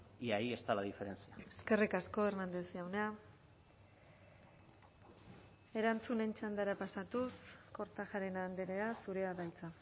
y ahí está la diferencia eskerrik asko hernández jauna erantzunen txandara pasatuz kortajarena andrea zurea da hitza